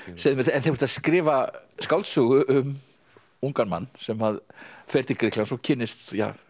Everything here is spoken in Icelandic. þú ert að skrifa skáldsögu um ungan mann sem fer til Grikklands og kynnist